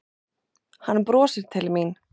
Hann brosir til mín.